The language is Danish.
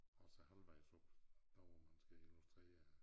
Og så halvvejs op der hvor man skal illustrere at